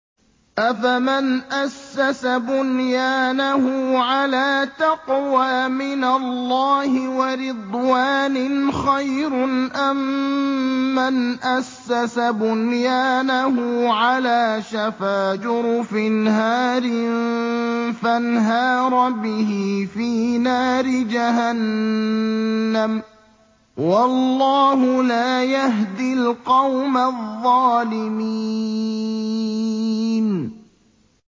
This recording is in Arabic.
أَفَمَنْ أَسَّسَ بُنْيَانَهُ عَلَىٰ تَقْوَىٰ مِنَ اللَّهِ وَرِضْوَانٍ خَيْرٌ أَم مَّنْ أَسَّسَ بُنْيَانَهُ عَلَىٰ شَفَا جُرُفٍ هَارٍ فَانْهَارَ بِهِ فِي نَارِ جَهَنَّمَ ۗ وَاللَّهُ لَا يَهْدِي الْقَوْمَ الظَّالِمِينَ